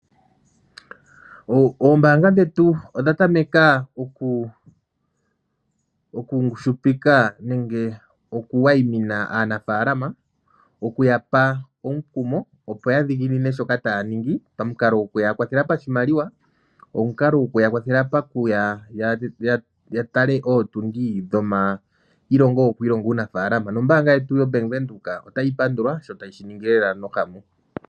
Oombaanga dhetu odha tameka oku ngushupika nenge oku wayimina aanafaalama oku ya pa omukumo, opo ya dhiginine shoka taya ningi pamukalo goku ya kwathela pashimaliwa, omukalo goku ya kwathela paku ya, ya tale ootundi dhomailongo goku ilonga uunafaalama, nombaanga yetu yoBank Windhoek otayi pandulwa sho tayi shi ningi lela nohamu.